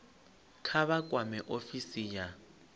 kha vha kwame ofisi ya